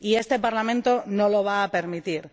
Y este Parlamento no lo va a permitir.